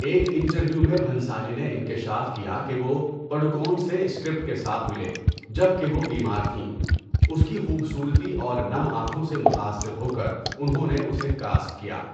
ایک انٹرویو میں بھنسالی نے انکشاف کیا کہ وہ پڈوکون سے اسکرپٹ کے ساتھ ملے جبکہ وہ بیمار تھیں، اس کی خوبصورتی اور نم آنکھوں سے متاثر ہو کر انہوں نے اسے کاسٹ کیا۔